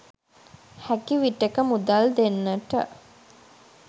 හැකි විටෙක මුදල් දෙන්නට